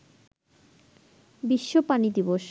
বিশ্ব পানি দিবস